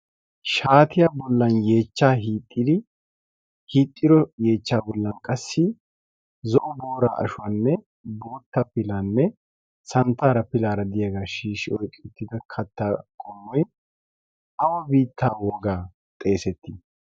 shaatiya bollan yechcha hixxiro yeechcha bollan qassi zo'o boora ashuwaanne boutta pilaanne santtaara pilaara diyaagaa shiishi oyqqi uttida katta qommoy awa biittaa wogaa xeesettii